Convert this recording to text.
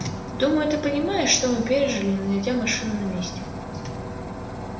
думаю ты понимаешь что мы пережили не найдя машины на месте